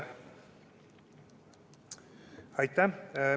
Aitäh!